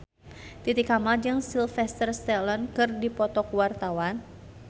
Titi Kamal jeung Sylvester Stallone keur dipoto ku wartawan